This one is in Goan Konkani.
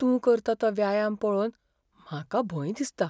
तूं करता तो व्यायाम पळोवन म्हाका भंय दिसता.